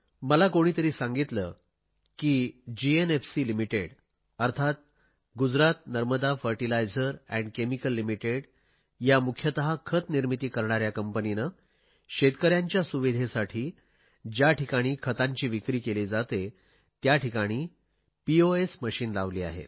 मला कोणीतरी सांगितले की गुजरात नर्मदा खोरे खते आणि रसायन मर्यादित या खतनिर्मितीशी संबंधित कंपनीने शेतकऱ्यांच्या सुविधेसाठी ज्याठिकाणी खतांची विक्री केली जाते त्याठिकाणी पोस मशिन लावले आहेत